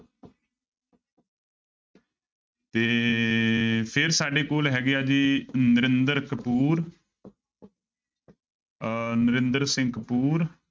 ਤੇ ਫਿਰ ਸਾਡੇ ਕੋਲ ਹੈਗੇ ਹੈ ਜੀ ਨਰਿੰਦਰ ਕਪੂਰ ਅਹ ਨਰਿੰਦਰ ਸਿੰਘ ਕਪੂਰ